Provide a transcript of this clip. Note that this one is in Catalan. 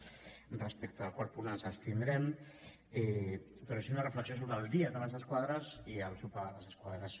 respecte al quart punt ens abstindrem però sí una reflexió sobre el dia de les esquadres i el sopar de les esquadres